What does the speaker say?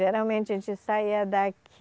Geralmente a gente saía daqui